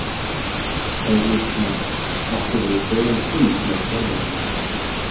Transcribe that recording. Heimir Már: Áttirðu góðan fund með formanninum?